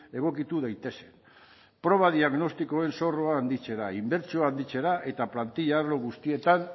egokitu daitezen proba diagnostikoen zorroa handitzera inbertsioak handitzera eta plantilla arlo guztietan